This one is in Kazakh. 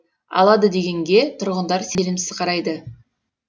алады дегенге тұрғындар сенімсіз қарайды